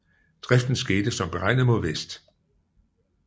Driften skete som beregnet mod vest